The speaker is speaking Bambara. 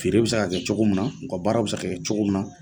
Feere bɛ se ka kɛ cogo min na, u ka baaraw bɛ se ka kɛ cogo min na.